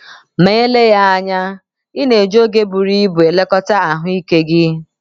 MA ELEGHỊ anya, ị na - eji oge buru ibu elekọta ahụ́ ike gị.